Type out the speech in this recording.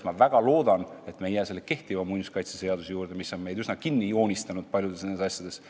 Ma väga loodan, et me ei jää kehtiva muinsuskaitseseaduse juurde, mis on meid üsna nn kinni joonistanud paljudes asjades.